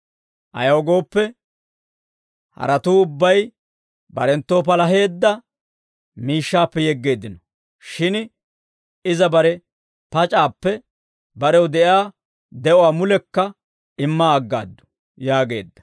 Ayaw gooppe, haratuu ubbay barenttoo palaheedda miishshaappe yeggeeddino; shin iza bare pac'aappe, barew de'iyaa de'uwaa mulekka imma aggaaddu» yaageedda.